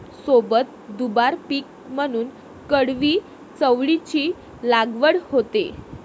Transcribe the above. सोबत दुबार पीक म्हणून कडवी चवळीची लागवड होते